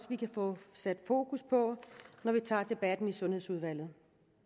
vi kan få sat fokus på når vi tager debatten i sundhedsudvalget